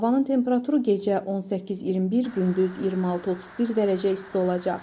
Havanın temperaturu gecə 18-21, gündüz 26-31 dərəcə isti olacaq.